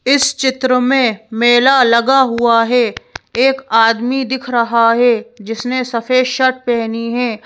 इस चित्र में मेला लगा हुआ है एक आदमी दिख रहा है जिसने सफेद शर्ट पहनी है।